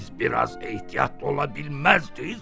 Siz biraz ehtiyatlı ola bilməzdiz?